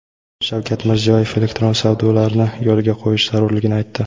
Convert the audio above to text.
Shavkat Mirziyoyev elektron savdolarni yo‘lga qo‘yish zarurligini aytdi.